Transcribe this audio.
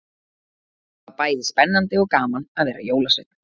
Það var bæði spennandi og gaman að vera jólasveinn.